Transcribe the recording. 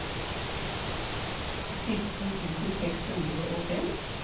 sytten tusen seks hundre og fem